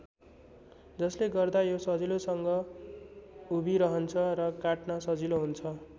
जसले गर्दा यो सजिलोसँग उभिरहन्छ र काट्न सजिलो हुन्छ।